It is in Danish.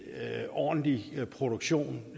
ordentlig produktion